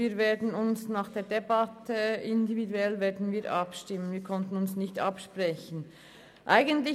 Wir werden nach der Debatte individuell abstimmen, wir haben uns nicht absprechen können.